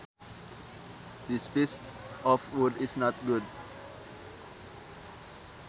This piece of wood is not good